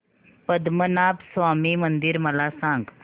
पद्मनाभ स्वामी मंदिर मला सांग